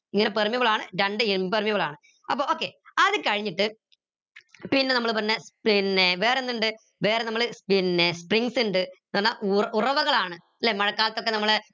permeable ആണ് രണ്ട് impermeable ആണ് അപ്പൊ okay അത് കഴിഞ്ഞിട്ട് പിന്നെ നമ്മൾ പറഞ്ഞ് പിന്നെ വേറെന്തിണ്ട് വേറെ നമ്മൾ പിന്നെ ന്ന് പറഞ്ഞ ഉറവകളാണ് ല്ലെ മഴക്കാലത്തൊക്കെ നമ്മളെ